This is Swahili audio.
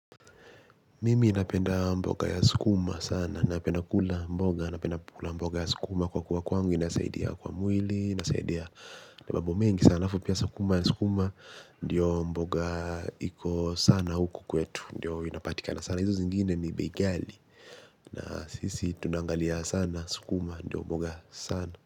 Mimi napenda mboga ya sukuma sana, napenda kula mboga, napenda kula mboga ya sukuma kwa kuwa kwangu, inasaidia kwa mwili, inasaidia na mambo mengi sana, afu pia sukuma ya sukuma, ndiyo mboga iko sana huku kwetu, ndiyo inapatikana sana, hizo zingine ni bei gjali, sisi tunaangalia sana sukuma ndo mboga.